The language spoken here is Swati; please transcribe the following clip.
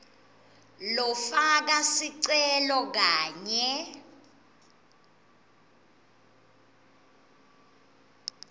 lofaka sicelo kanye